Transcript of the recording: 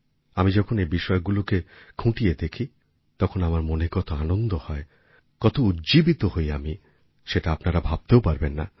আমি যখন এই বিষয়গুলোকে খুঁটিয়ে দেখি তখন আমার মনে কতআনন্দ হয় কত উজ্জীবিত হই আমি সেটা আপনারা ভাবতেও পারবেন না